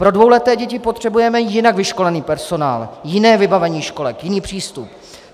Pro dvouleté děti potřebujeme jinak vyškolený personál, jiné vybavení školek, jiný přístup.